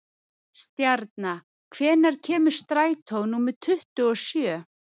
Stjarna, hvenær kemur strætó númer tuttugu og sjö?